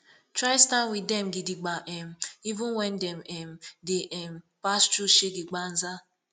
try stand wit dem gidigba um even wen dem um dey um pass thru shege banza